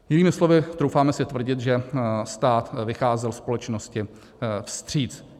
Jinými slovy, troufáme si tvrdit, že stát vycházel společnosti vstříc.